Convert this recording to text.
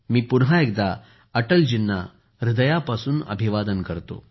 मी पुन्हा एकदा अटलजींना हृदयापासून अभिवादन करतो